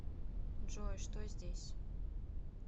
джой что здесь